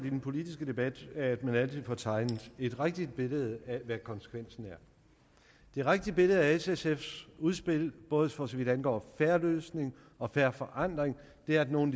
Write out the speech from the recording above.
i den politiske debat altid får tegnet et rigtigt billede af hvad konsekvensen er det rigtige billede af s og sfs udspil både for så vidt angår en fair løsning og fair forandring er at nogle